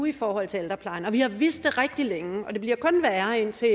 i forhold til ældreplejen og vi har vidst det rigtig længe det bliver kun værre indtil